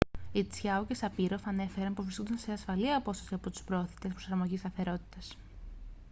οι τσιάο και σαπίροφ ανέφεραν πως βρίσκονταν σε ασφαλή απόσταση από τους προωθητές προσαρμογής σταθερότητας